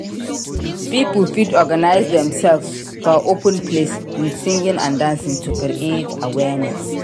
Pipo fit organise themselves for open place with singing and dancing to create awareness